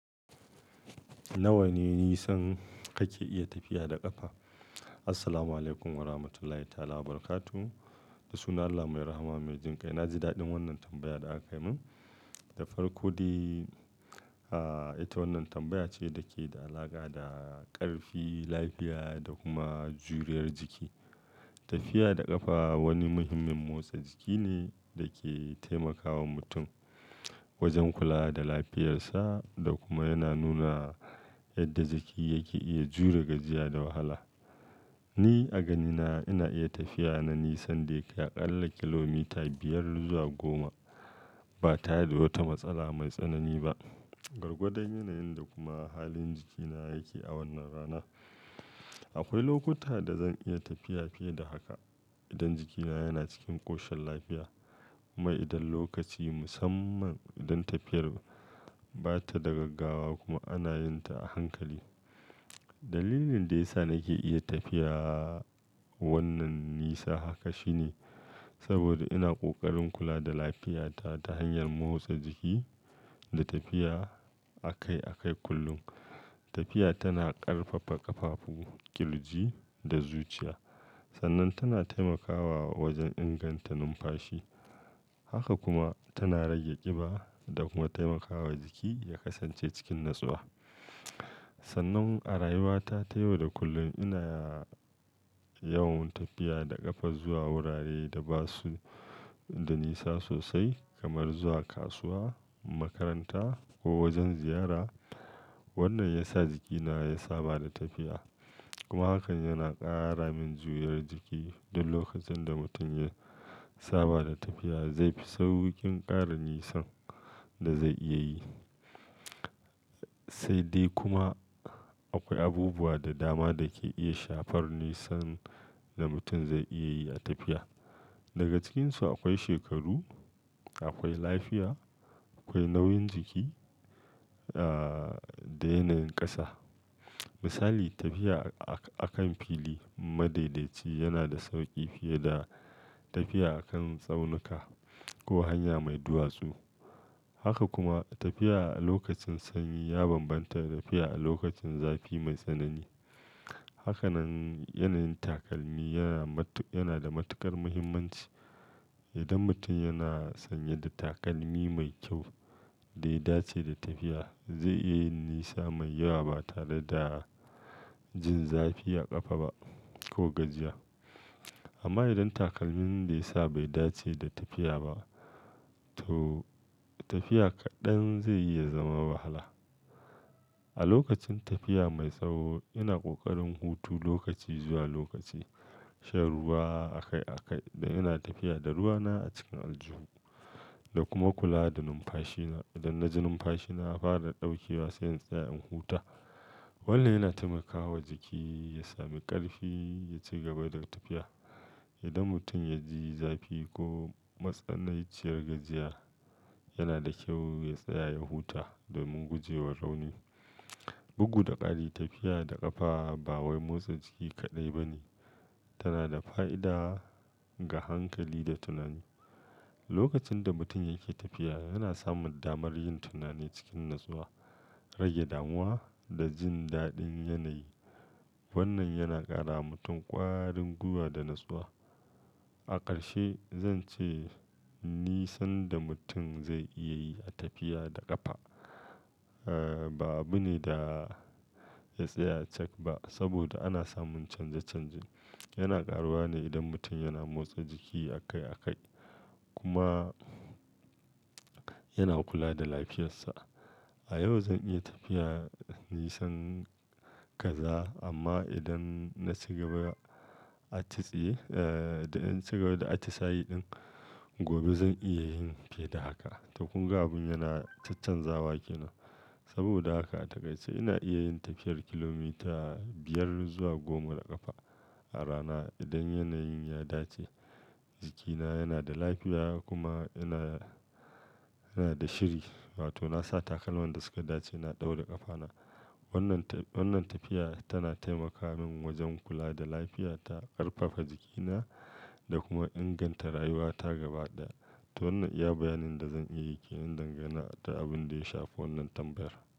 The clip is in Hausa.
Nawa ne nisan kake iya tafiya da ƙafa? Assalamualaikum warahmatullahi ta'ala barakatu da suna Allah mai rahama mai jin kai. Na ji daɗin wannan tambayar da aka yi min. Da farko dai, ah ita wannan tambaya ce dake da alaƙa da ƙarfi, lafiya da kuma juriyar jiki. Tafiya da ƙafa wani muhimmin motsa jiki ne da ke taimakawa mutum wajen kula da lafiyarsa da kuma yana nuna yadda jiki yake iya jure gajiya da wahala. Ni a ganina ina iya tafiya na nisan da ya ƙalla kilomita biyar zuwa goma ba tare da wata matsala mai tsanani ba. Gwargwadan yanayin da kuma halin jikina yake a wannan rana. Akwai lokuta da zan iya tafiya fiye da haka idan jikina yana cikin ƙoshin lafiya. Kuma idan lokaci musamman idan tafiyar ba ta da gaggawa kuma ana yin ta a hankali. Dalilin da ya sa nake iya tafiya wannan nisa haka shine saboda ina ƙoƙarin kula da lafiyata ta hanyar motsa jiki da tafiya akai-akai kullum. Tafiya tana ƙarfafa ƙafafu, ƙirji da zuciya. Sannan tana taimakawa wajen inganta numfashi. Haka kuma tana rage ƙiba da kuma taimakawa jiki ya kasance cikin natsuwa. Sannan a rayuwata ta yau da kullum ina yawan tafiya da ƙafa zuwa wurare da ba su da nisa sosai kamar zuwa kasuwa, makaranta ko wajen ziyara. Wannan ya sa jikina ya saba da tafiya kuma hakan yana ƙara min juriyar jiki. Duk lokacin da mutum ya saba da tafiya zai fi sauƙin ƙara nisan da zai iya yi. Sai dai kuma akwai abubuwa da dama da ke iya shafar nisan da mutum zai iya yi a tafiya. Daga cikinsu akwai shekaru, akwai lafiya, akwai nauyin jiki ah da yanayin ƙasa. Misali, tafiya a-a kan fili madaidaci yana da sauƙi fiye da tafiya a kan tsaunuka ko hanya mai duwatsu. Haka kuma tafiya a lokacin sanyi ya bambanta da tafiya a lokacin zafi mai tsanani. Haka nan yanayin takalmi yana matu-- yana da matuƙar muhimmanci. Idan mutum yana sanye da takalmi mai kyau da ya dace da tafiya zai iya yin nisa mai yawa ba tare da jin zafi a ƙafa ba ko gajiya. Amma idan takalmin da ya sa bai dace da tafiya ba to tafiya kaɗan zaiyi ya zama wahala. A lokacin tafiya mai tsawo ina ƙoƙarin hutu lokaci zuwa lokaci, shan ruwa akai-akai da ina tafiya da ruwana a cikin aljuhu da kuma kula da numfashina. Idan na ji numfashina fara ɗaukewa sai in tsaya in huta. Wannan yana taimakawa jiki ya sami ƙarfi ya ci gaba da tafiya. Idan mutum ya ji zafi ko matsananciyar gajiya yana da kyau ya tsaya ya huta domin guje wa rauni. Bugu da ƙari tafiya da ƙafa ba wai motsa jiki kaɗai ba ne, tana da fa'ida ga hankali da tunani. Lokacin da mutum yake tafiya yana samun damar yin tunani cikin natsuwa, rage damuwa da jin daɗin yanayi. Wannan yana ƙara wa mutum ƙwarin gwiwa da natsuwa. A ƙarshe zan ce nisan da mutum zai iya yi a tafiya da ƙafa ah ba abu ne da ya tsaya cak ba saboda ana samun canje-canje. Yana ƙaruwa ne idan mutum yana motsa jiki akai-akai kuma yana kula da lafiyarsa. A yau zan iya tafiya nisan kaza amma idan na ci gaba a tsiye-- idan na ci gaba da atisaye ɗin gobe zan iya yin fiye da haka. Tokun ga abin yana chachan zawa ke nan. Saboda haka a takaice ina iya yin tafiyar kilomita biyar zuwa goma da ƙafa a rana idan yanayin ya dace, jikina yana da lafiya kuma ina, ina da shiri. Wato nasa takalman da suka dace na ɗaura ƙafana. Wannan ta-- wannan tafiya tana taimaka min wajen kula da lafiyata, ƙarfafa jikina da kuma inganta rayuwata gaba ɗaya. To wannan iya bayanin da zan iya yi ke nan dangane da abin da ya shafi wannan tambayar.